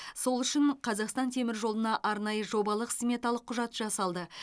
сол үшін қазақстан теміржолына арнайы жобалық сметалық құжат жасалды